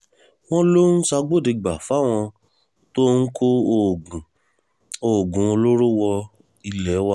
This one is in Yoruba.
wọ́n lọ ń ṣàgbọ́dẹ́gbà fáwọn tó ń kó oògùn oògùn olóró wọ ilé wa